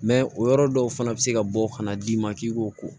o yɔrɔ dɔw fana bɛ se ka bɔ ka na d'i ma k'i k'o ko